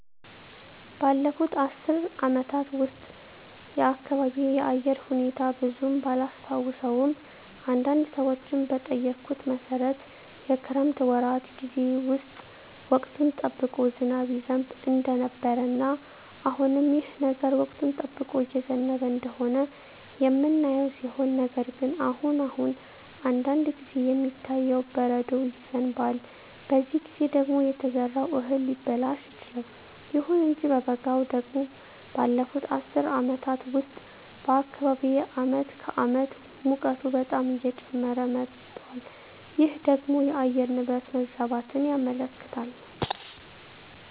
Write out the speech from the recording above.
ባለፉት አስር አመታት ውስጥ የአካባቢየ የአየር ሁኔታ ብዙም ባላስታውሰውም አንዳንድ ሰዎችን በጠየኩት መሠረት የክረምት ወራት ጌዜ ውስጥ ወቅቱን ጠብቆ ዝናብ ይዘንብ እንደነበረ እና አሁንም ይህ ነገር ወቅቱን ጠብቆ እየዘነበ እንደሆነ የምናየው ሲሆን ነገር ግን አሁን አሁን አንዳንድ ጊዜ የሚታየው በረዶ ይዘንባል በዚህ ጊዜ ደግሞ የተዘራው እህል ሊበላሽ ይችላል። ይሁን እንጂ በበጋው ደግሞ ባለፋት አስር አመታት ውስጥ በአካባቢየ አመት ከአመት ሙቀቱ በጣም እየጨመረ መጧል ይህ ደግሞ የአየር ንብረት መዛባትን ያመለክታል